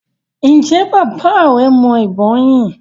ǹjẹ́ bàbá rẹ mọ ìbọn yín?